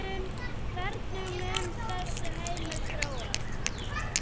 Hvernig mun þessi heimur þróast?